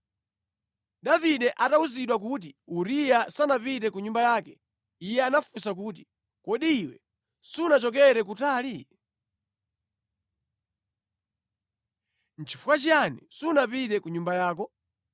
Davide atawuzidwa kuti, “Uriya sanapite ku nyumba yake.” Iye anafunsa kuti, “Kodi iwe sunachokera kutali? Nʼchifukwa chiyani sunapite ku nyumba yako?”